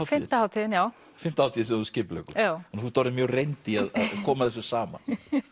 hátíðin já fimmta hátíðin sem þú skipuleggur já þannig þú ert orðin mjög reynd í að koma þessu saman